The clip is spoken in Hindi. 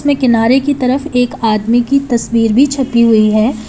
में किनारे की तरफ एक आदमी की तस्वीर भी छपी हुई है।